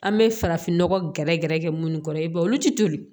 An bɛ farafinnɔgɔ gɛrɛ gɛrɛ kɛ munnu kɔrɔ i b'a ye olu ti toli